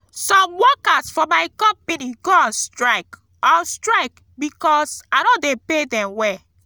some workers for my company go on strike on strike because i no dey pay dem well